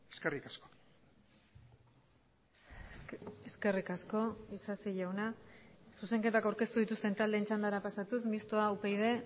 eskerrik asko eskerrik asko isasi jauna zuzenketak aurkeztu dituzten taldeen txandara pasatuz mistoa upyd